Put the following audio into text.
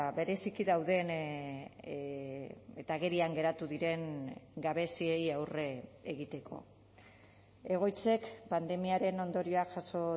bereziki dauden eta agerian geratu diren gabeziei aurre egiteko egoitzek pandemiaren ondorioak jaso